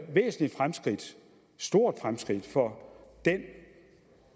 stort fremskridt for den